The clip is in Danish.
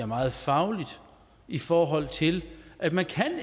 meget faglig i forhold til at man